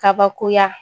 Kabakoya